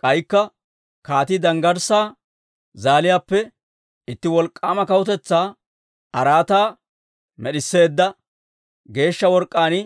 K'aykka kaatii danggarssaa zaaliyaappe itti wolk'k'aama kawutetsaa araataa med'isseedda, geeshsha work'k'aan